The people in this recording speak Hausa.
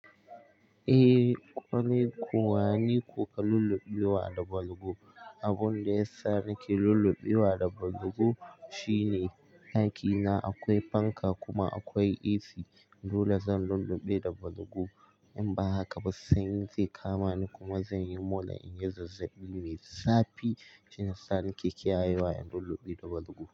Eh, kwarai ko niko ka lullubewa da balgu. Abin da yasa nake lullubewa da balgu shine ɗakina akwai fanka kuma akwai AC. Dole zan lullube da balgu, in ba haka ba sanyi zai kama ni kuma zan yi mola in yi zazzaɓi. Mai zapi shine sa nake kiyayewa in lullube da balgu.